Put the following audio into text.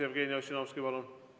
Jevgeni Ossinovski, palun!